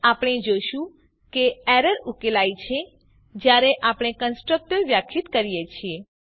આપણે જોશું કે એરર ઉકેલાઈ છે જયારે આપણે કન્સ્ટ્રક્ટર વ્યાખ્યાયિત કરીએ છીએ